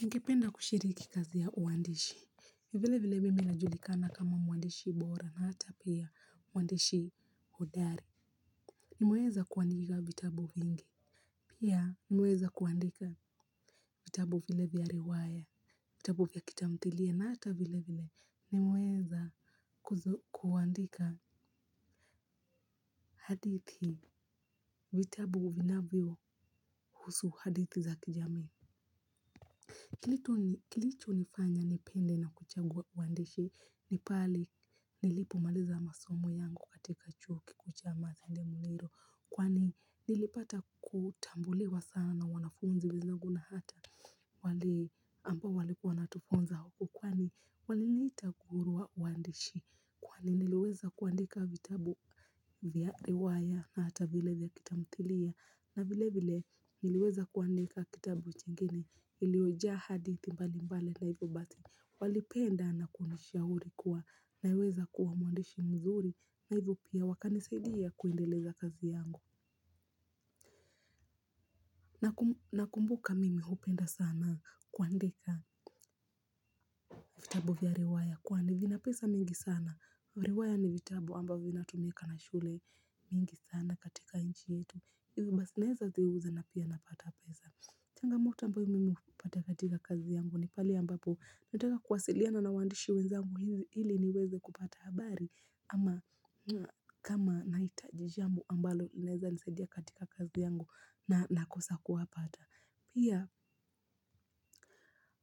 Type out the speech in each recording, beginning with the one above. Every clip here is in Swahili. Ningipenda kushiriki kazi ya uwandishi, vile vile mimi najulikana kama mwandishi bora na hata pia mwandishi hodari. Nimeweza kuandika vitabu vingi. Pia nimeweza kuandika vitabu vile vya riwaya vitabu vya kitamthilia na hata vile vile nimeweza kuandika hadithi, vitabu vinavyo husu hadithi za kijamii. Kilicho nifanya nipende na kuchagua uandishi ni pale nilipo maliza masomo yangu katika chuo kikuu cha Masinde Muliro, kwani nilipata kutambuliwa sana na wanafunzi wenzangu na hata wale ambao walikuwa wanatufunza kwani waliniita nguru wa waandishi kwani niliweza kuandika vitabu vya riwaya na hata vile ya kitamthilia na vile vile niliweza kuandika kitabu kingine ilioja hadithi mbali mbali na hivyo basi walipenda na kunishauri kuwa na weza kuwa mwandishi mzuri na hivyo pia wakanisaidia kuendeleza kazi yangu nakumbuka mimi hupenda sana kuandika vitabu via riwaya kwani vina pesa mingi sana riwaya ni vitabu ambavyo vina tumika na shule mingi sana katika inchi yetu hivi basi naeza ziuza na pia napata pesa. Changamoto ambayo mimi hupata katika kazi yangu ni pale ambapo nataka kuwasiliana na wandishi wenzangu ili niweze kupata habari ama kama nahitaji jambo ambalo linaeza nisadia katika kazi yangu na nakosa kuwapata. Pia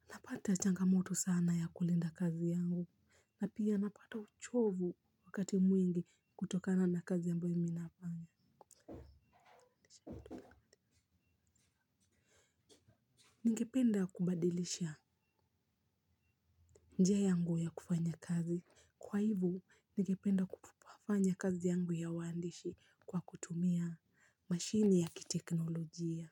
napata changa moto sana ya kulinda kazi yangu. Na pia napata uchovu wakati mwingi kutokana na kazi ambayo mimi nafanya. Ningependa kubadilisha njia yangu ya kufanya kazi. Kwa hivo, ningependa kufanya kazi yangu ya waandishi kwa kutumia mashini ya kiteknolojia.